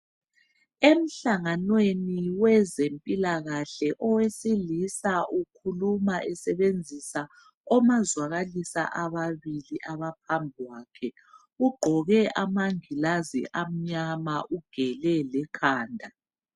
Emhlanganweni wezempilakahle owesilisa ukhuluma esebenzisa omazwakalisa ababili abaphambi kwakhe. Ugqoke amangilazi amnyama ugele lekhanda.